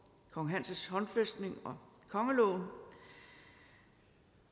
kong hans håndfæstning og kongeloven